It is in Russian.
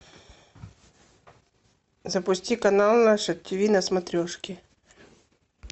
запусти канал наше тв на смотрешке